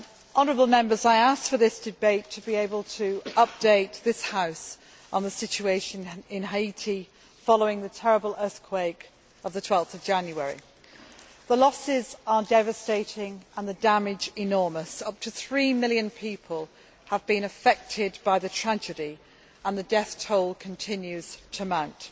Honourable Members, I asked for this debate to be able to update this House on the situation in Haiti following the terrible earthquake of 12 January. The losses are devastating and the damage is enormous. Up to three million people have been affected by the tragedy, and the death toll continues to mount.